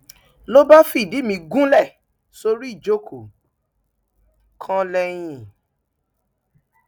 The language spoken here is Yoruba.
ló bá fìdí mi gúnlẹ sórí ìjókòó kan lẹyìn